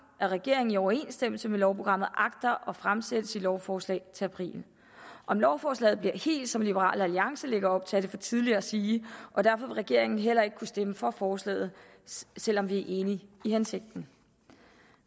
at regeringen i overensstemmelse med lovprogrammet agter at fremsætte sit lovforslag til april om lovforslaget bliver helt som liberal alliance lægger op til er det for tidligt at sige og derfor vil regeringen heller ikke kunne stemme for forslaget selv om vi er enige i hensigten